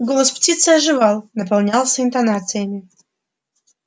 голос птицы оживал наполнялся интонациями